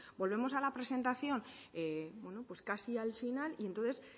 volvemos a la presentación pues casi al final y entonces